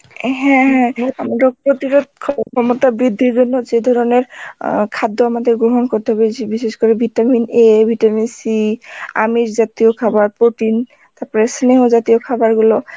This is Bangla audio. হ্যাঁ হ্যাঁ রোগ প্রতিরোধ ক্ষমতা বৃদ্ধির জন্য যে ধরনের অ্যাঁ খাদ্য আমাদের গ্রহণ করতে বলছে, বিশেষ করে vitamin A, vitamin C আমিষ জাতীয় খাবার protein তারপরে স্নেহ জাতীয় খাবার গুলো